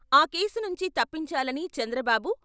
ఆ కేసు నుంచి తప్పించాలని చంద్రబాబు..